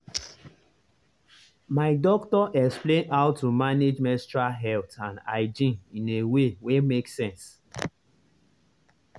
my doctor explain how to manage menstrual health and hygiene in a way wen make sense.